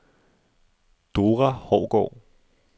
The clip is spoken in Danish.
Dora Hougaard